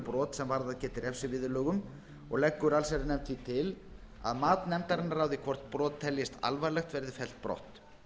brot sem varðað geti refsiviðurlögum og leggur allsherjarnefnd því til að mat nefndarinnar á því hvort brot teljist alvarleg verði fellt brott